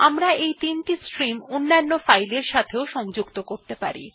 আমরা এই ৩ টি স্ট্রিম অন্যান্য ফাইলের সাথে সংযুক্ত করতে পারি